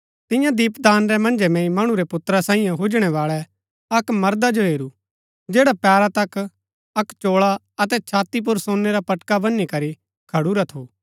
तियां दीपदान रै मन्जै मैंई मणु रै पुत्रा सांईयै हुजणै बाळै अक्क मर्दा जो हेरू जैडा पैरा तक अक्क चोळा अतै छाती पुर सोनै रा पटका बनी करी खडुरा थू